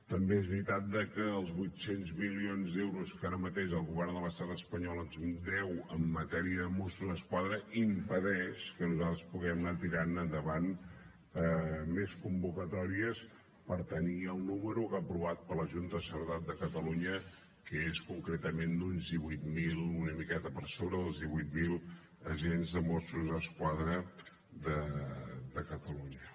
també és veritat que els vuit cents milions d’euros que ara mateix el govern de l’estat espanyol ens deu en matèria de mossos d’esquadra impedeix que nosaltres puguem anar tirant endavant més convocatòries per tenir el número aprovat per la junta de seguretat de catalunya que és concretament d’uns divuit mil una miqueta per sobre dels divuit mil agents dels mossos d’esquadra de catalunya